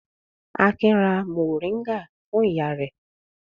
Akin ra mòríngà fún ìyá rẹ̀.